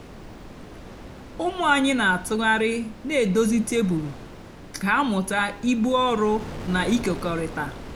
ụmụ ányị nà-àtụgharị nà-èdozi tebụl kà hà mụta íbú ọrụ nà ịkèkọrịta.